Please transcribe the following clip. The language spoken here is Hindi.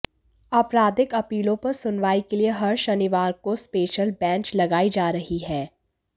आपराधिक अपीलों पर सुनवाई के लिए हर शनिवार को स्पेशल बेंच लगाई जा रही है